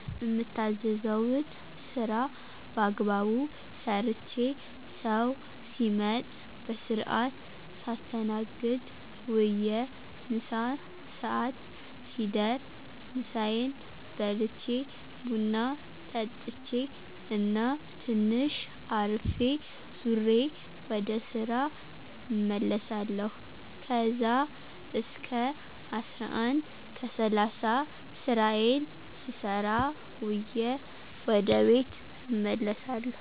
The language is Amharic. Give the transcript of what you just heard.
እምታዘዘዉን ስራ ባግባቡ ሰርቼ፣ ሰዉ ሲመጥ በስርአት ሳስተናግድ ዉየ ምሳ ሰአት ሲደር ምሳየን በልቼ፣ ቡና ጠጥቼ እና ትንሽ አርፌ ዙሬ ወደ ስራ እመለሳለሁ ከዛ እስከ 11:30 ስራየን ስሰራ ዉየ ወደ ቤት እመለሳለሁ።